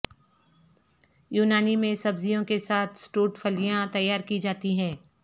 یونانی میں سبزیوں کے ساتھ سٹوڈ پھلیاں تیار کی جاتی ہیں